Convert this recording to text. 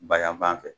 Bayanfan fɛ